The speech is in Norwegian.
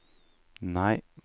nei